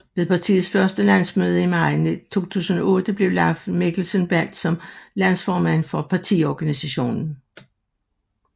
Ved partiets første landsmøde i maj 2008 blev Leif Mikkelsen valgt som landsformand for partiorganisationen